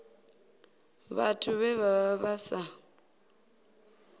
vhathu vhe vha vha sa